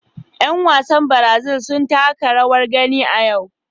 Yan wasan Brazil sun taka rawar gani a yau.